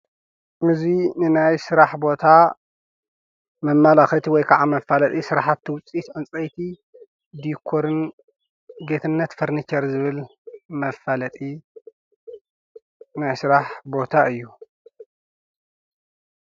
እዙይ ንናይ ሥራሕ ቦታ መማላኽት ወይ ከዓ መፋለጢ ሥራሓቲ ውፂት እንፀይቲ ዲኮርን ጌትነት ፍርኒከር ዝብል መፋለጢ ናይሥራሕ ቦታ እዩ።